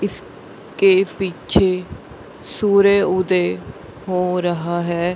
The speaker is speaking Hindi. इसके पीछे सूर्य उदय हो रहा है।